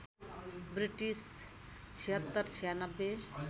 British ७६९६